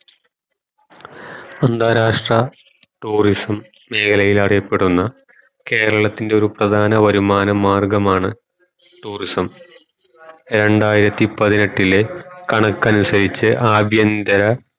അന്താരാഷ്‍ട്ര tourism മേഖലയിൽ അറിയപ്പെടുന്ന കേരളത്തിൻ്റെ ഒരു പ്രധാന വരുമാന മാർഗമാണ് tourism രണ്ടായിരത്തി പതിനെട്ടിലെ കണക്കനുസരിച് ആഭ്യന്തര